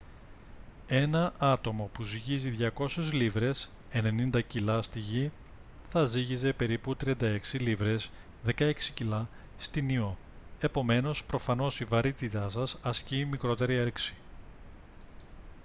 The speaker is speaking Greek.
ένα άτομο που ζυγίζει 200 λίβρες 90 κιλά στη γη θα ζύγιζε περίπου 36 λίβρες 16 κιλά στην ιώ. επομένως προφανώς η βαρύτητα σας ασκεί μικρότερη έλξη